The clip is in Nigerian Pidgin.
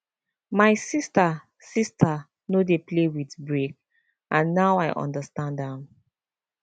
my sister sister no dey play with break and now i understand am